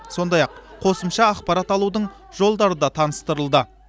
сондай ақ қосымша ақпарат алудың жолдары да таныстырылды